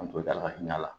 An to da la ka ɲa a la